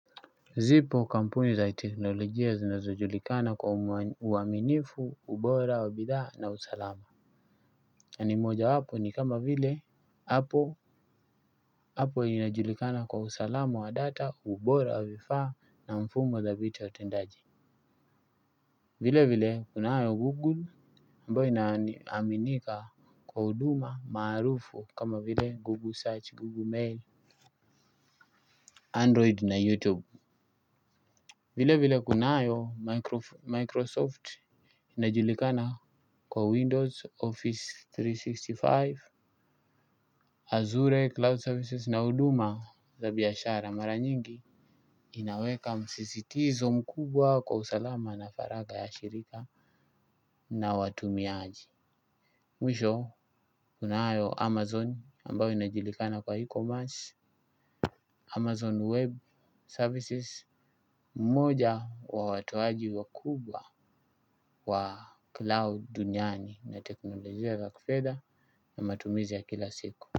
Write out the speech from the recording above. Zipo kampuni za teknolojia zinazojulikana kwa uaminifu, ubora, wa bidha na usalama. Na ni moja wapo ni kama vile, hapo. Inajulikana kwa usalama wa data, ubora wa vifaa na mfumo dhabiti wa utendaji. Vile vile kunayo Google ambayo inaminika kwa huduma maarufu kama vile Google search, Googgle Mail Android na youtube. Vile vile kunayo Microsoft inajulikana kwa Windows, Office mia tatu na sitini na tano, Azure, Cloud Services na huduma za biashara mara nyingi inaweka msisitizo mkubwa kwa usalama na faragha ya shirika na watumiaji. Mwisho, kunayo Amazon ambayo inajulikana kwa E-Commerce, Amazon Web Services moja wa watoaji wakubwa wa cloud duniani na teknolojia za kifedha na matumizi ya kila siku.